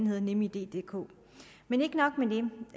hedder nemiddk men ikke nok